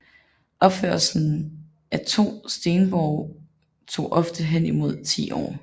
Opførelsen af store stenborge tog ofte henimod ti år